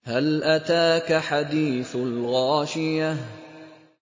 هَلْ أَتَاكَ حَدِيثُ الْغَاشِيَةِ